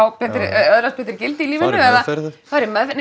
öðlast betri gildi í lífinu eða fara í meðferð